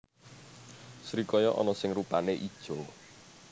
Srikaya ana sing rupané ijo